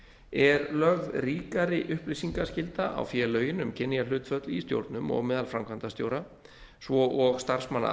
er lögð ríkari upplýsingaskylda á félögin um kynjahlutföll í stjórnum og meðal framkvæmdastjóra svo og starfsmanna